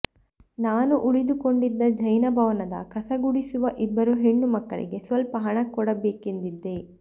ನಾನು ಉಳಿದುಕೊಂಡಿದ್ದ ಜೈನ ಭವನದ ಕಸಗುಡಿಸುವ ಇಬ್ಬರು ಹೆಣ್ಣು ಮಕ್ಕಳಿಗೆ ಸ್ವಲ್ಪ ಹಣ ಕೊಡಬೇಕೆಂದಿದ್ದೆ